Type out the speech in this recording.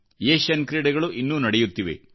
Asian ಕ್ರೀಡೆಗಳು ಇನ್ನೂ ನಡೆಯುತ್ತಿವೆ